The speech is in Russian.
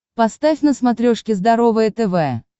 поставь на смотрешке здоровое тв